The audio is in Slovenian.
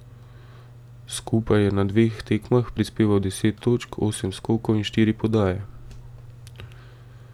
Skupaj je na dveh tekmah prispeval deset točk, osem skokov in štiri podaje.